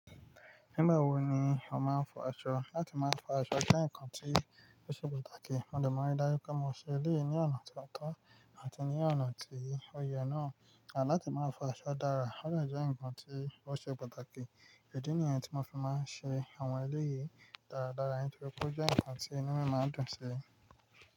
Nígbà wo ni ó máa ń fọ aṣọ? Láti máa fọ aṣọ jẹ́ nǹkan tí ó ṣe pàtàkì. Mo dẹ̀ maa ri daju pé mo ṣe ilé yìí ní ọ̀nà tó tọ́ àti ní ọ̀nà tí ó yẹ náà. Àní láti máa fọ aṣọ dára, ó de jẹ́ ǹkan tí ó ṣe pàtàkì. Ìdí nìyẹn tí mo fi máa ń ṣe àwọn ilé yìí dáradára nítorí pé ó jẹ́ ǹkan tí inú mi máa ń dùn sí.